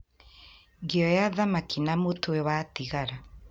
Ngĩoya thamaki na mũtwe watigara